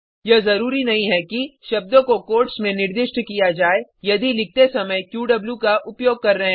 यह जरूरी नहीं है कि शब्दों को कोट्स में निर्दिष्ट किया जाय यदि लिखते समय क्यू का उपयोग कर रहे हैं